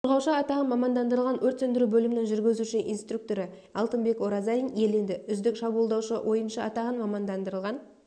қорғаушы атағын мамандандырылған өрт сөндіру бөлімінің жүргізуші-инструкторы алтынбек оразалин иеленді үздік шабуылдаушы ойыншы атағын мамандандырылған